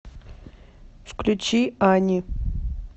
включи ани